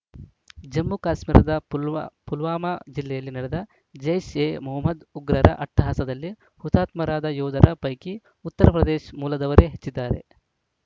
ಜಮ್ಮುಕಾಶ್ಮೀರದ ಪುಲ್ವಾ ಪುಲ್ವಾಮಾ ಜಿಲ್ಲೆಯಲ್ಲಿ ನಡೆದ ಜೈಷ್‌ಎಮೊಹಮ್ಮದ್‌ ಉಗ್ರರ ಅಟ್ಟಹಾಸದಲ್ಲಿ ಹುತಾತ್ಮರಾದ ಯೋಧರ ಪೈಕಿ ಉತ್ತರ ಪ್ರದೇಶ್ ಮೂಲದವರೇ ಹೆಚ್ಚಿದ್ದಾರೆ